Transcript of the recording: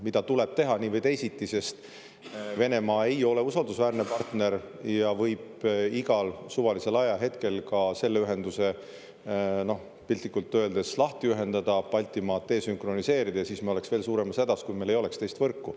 Seda tuleb teha nii või teisiti, sest Venemaa ei ole usaldusväärne partner ja võib igal suvalisel ajahetkel ka selle ühenduse piltlikult öeldes lahti ühendada, Baltimaad desünkroniseerida ja siis me oleks veel suuremas hädas, kui meil ei oleks teist võrku.